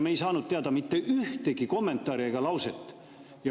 Me ei saanud teada mitte ühtegi kommentaari ega muud lauset.